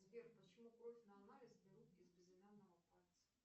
сбер почему кровь на анализ берут из безымянного пальца